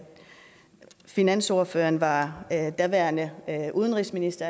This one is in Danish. finansordføreren var daværende udenrigsminister